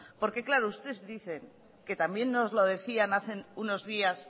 porque claro usted dice que también nos lo decían hace unos días